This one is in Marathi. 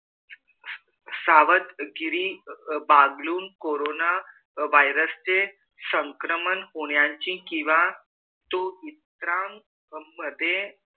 सवादहगिरी वागलून कोरोन virus चे संक्रमण होण्याची कीवा तो इतरा मधे